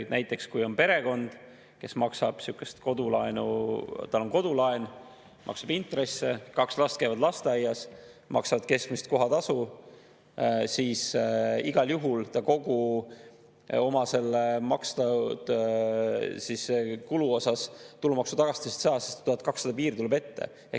Näiteks, kui on perekond, kel on kodulaen, ta maksab intresse, kaks last käivad lasteaias, ta maksab keskmist kohatasu, siis igal juhul ta kogu oma makstud kulu osas tulumaksutagastust ei saa, sest 1200 piir tuleb ette.